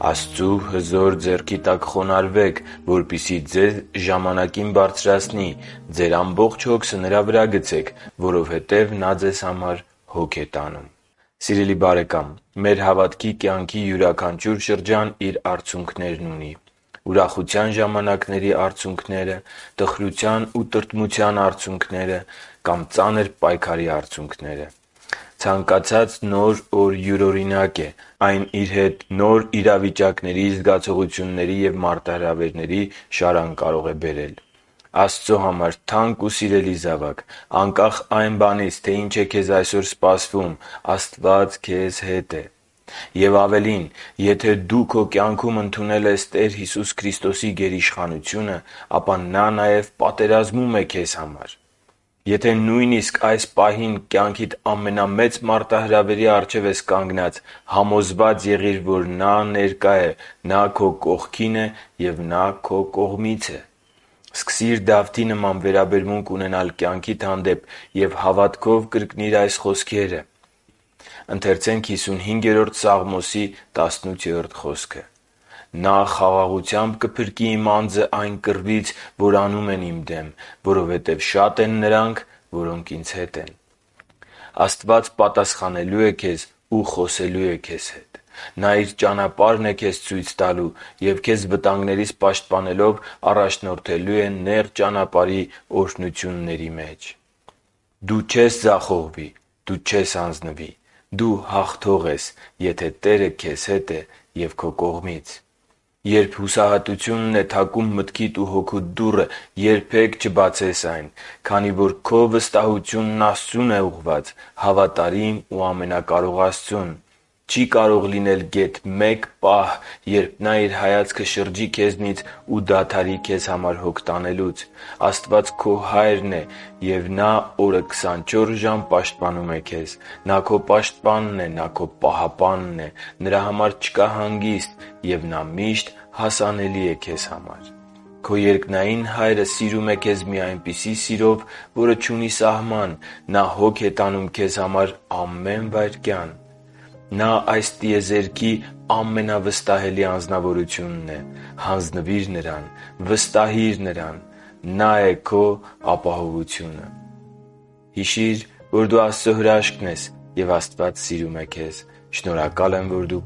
«Աստծու հզոր ձեռքի տակ խոնարհվե՛ք, որպեսզի ձեզ ժամանակին բարձրացնի։ Ձեր ամբողջ հոգսը Նրա վրա՛ գցեք, որովհետև Նա ձեզ հոգ է տանում» (Ա Պետրոս 5.6-7)։ Սիրելի՛ բարեկամ, մեր հավատքի կյանքի յուրաքանչյուր շրջան իր արցունքներն ունի՝ ուրախության ժամանակների արցունքները, տխրության ու տրտմության արցունքները կամ ծանր պայքարի արցունքները։ Ցանկացած նոր օր յուրօրինակ է։ Այն իր հետ նոր իրավիճակների, զգացողությունների և մարտահրավերների նոր շարան կարող է բերել։ Աստծո համար թանկ ու սիրելի՛ զավակ, անկախ այն բանից, թե ինչ է քեզ այսօր սպասվում, Աստված քեզ հետ է։ Եվ ավելին, եթե դու քո կյանքում ընդունել ես Տեր Հիսուս Քրիստոսի գերիշխանությունը, ապա Նա նաև պատերազմում է քեզ համար։ Եթե նույնիսկ այս պահին կյանքիդ ամենամեծ մարտահրավերի առջև ես կանգնած, համոզվա՛ծ եղիր, որ Նա ներկա է, Նա քո կողքին է և Նա քո կողմից է։ Սկսի՛ր Դավթի նման վերաբերմունք ունենալ կյանքիդ հանդեպ և հավատքով կրկնիր այս խոսքերը. «Նա խաղաղությամբ կփրկի իմ անձն այն կռվից, որ անում են իմ դեմ, որովհետև շատ են նրանք, որոնք ինձ հետ են» (Սաղմոս 55.18): Աստված պատասխանելու է քեզ ու խոսելու է քեզ հետ։ Նա Իր ճանապարհն է քեզ ցույց տալու և, քեզ վտանգներից պաշտպանելով, առաջնորդելու է նեղ ճանապարհի օրհնությունների մեջ։ Դու չես ձախողվի։ Դու չես հանձնվի։ Դու հաղթող ես, եթե Տերը քեզ հետ է ու քո կողմից։ Երբ հուսահատությունն է թակում մտքիդ ու հոգուդ դուռը, երբե՛ք չբացես այն, քանի որ քո վստահությունն Աստծո՛ւն է ուղղված՝ հավատարիմ ու ամենակարող Աստծուն։ Չի կարող լինել գեթ մի պահ, երբ Նա Իր հայացքը շրջի քեզնից ու դադարի քեզ համար հոգ տանելուց։ Աստված քո Հայրն է, և Նա օրը քսանչորս ժամ պաշտպանում է քեզ։ Նա քո Պաշտպանն է։ Նա քո Պահապանն է։ Նրա համար չկա հանգիստ։ Եվ Նա միշտ հասանելի է քեզ համար։ Քո երկնային Հայրը սիրում է քեզ մի այնպիսի սիրով, որը չունի սահման։ Նա հոգ է տանում քեզ համար ամե՛ն վայրկյան։ Նա այս տիեզերքի ամենավստահելի Անձնավորությունն է։ Հանձնվի՛ր Նրան։ Վստահի՛ր Նրան։ Նա՛ է քո ապահովությունը։ Հիշի՛ր, որ դու Աստծո հրաշքն ես, և Աստված սիրում է քեզ։ Շնորհակալ եմ, որ դու